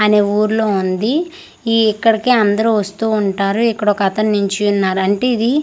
అనే ఊర్లో ఉంది ఈ ఇక్కడికి అందరు వస్తూ ఉంటారు ఇక్కడోకతను నిల్చున్నారు అంటే ఇది--